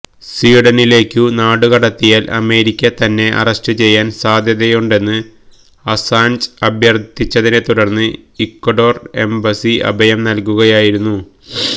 സ്വീഡനിലേക്കു നാടുകടത്തിയാല് അമേരിക്ക തന്നെ അറസ്റ്റ് ചെയ്യാന് സാധ്യതയുണ്ടെന്ന് അസാന്ജ് അഭ്യർഥിച്ചതിനെ തുടർന്ന് ഇക്വഡോർ എംബസി അഭയം നൽകുകയായിരുന്നു